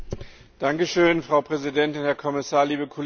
Frau Präsidentin, Herr Kommissar, liebe Kolleginnen und Kollegen!